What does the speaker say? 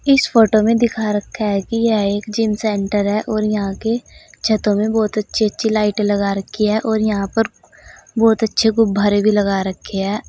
इस फोटो में दिखा रखा है कि यह एक जिम सेंटर है और यहां के छतों में बहुत अच्छी अच्छी लाइटें लगा रखी है और यहां पर बहुत अच्छे गुब्बारे भी लगा रखे है।